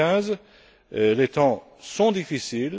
2015. Les temps sont difficiles.